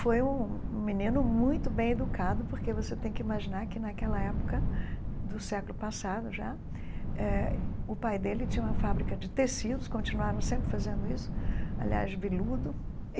Foi um um menino muito bem educado, porque você tem que imaginar que naquela época do século passado já, eh o pai dele tinha uma fábrica de tecidos, continuaram sempre fazendo isso, aliás, biludo.